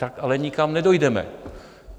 Tak ale nikam nedojdeme.